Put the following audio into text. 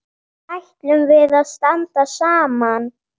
Ætlum við að standa saman?